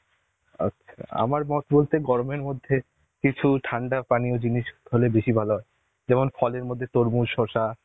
আচ্ছা. আমার মত বলতে গরমের মধ্যে কিছু ঠান্ডা পানীয় জিনিস হলে বেশি ভালো হয়. যেমন ফলের মধ্যে তরমুজ শসা